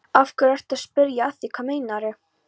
Af hverju ertu að spyrja að því. hvað meinarðu?